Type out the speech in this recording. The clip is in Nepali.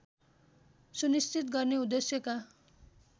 सुनिश्चित गर्ने उद्देश्यका